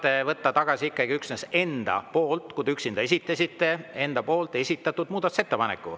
Te saate võtta tagasi ikkagi üksnes enda esitatud muudatusettepaneku, kui te selle üksinda esitasite.